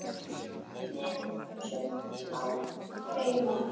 Með sumt á hreinu.